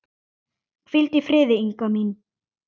Hvíldu í friði, Inga mín.